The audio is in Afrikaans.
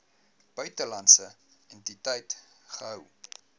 buitelandse entiteit gehou